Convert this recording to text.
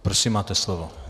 Prosím, máte slovo.